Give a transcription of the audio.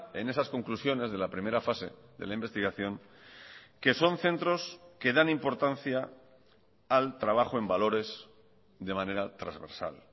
en esas conclusiones de la primera fase de la investigación que son centros que dan importancia al trabajo en valores de manera transversal